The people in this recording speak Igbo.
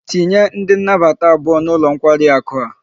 Tinye ndi nabata abuo n'ulo nkwari aku a